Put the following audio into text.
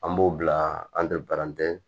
An b'o bila an tɛ